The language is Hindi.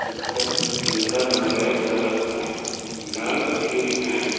ऊपर प कैमरा लगाया गया है लाइट भी है।